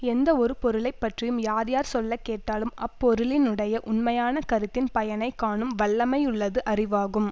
எந்த ஒரு பொருளை பற்றியும் யார் யார் சொல்ல கேட்டாலும் அப்பொருளினுடைய உண்மையான கருத்தின் பயனை காணும் வல்லமையுள்ளது அறிவாகும்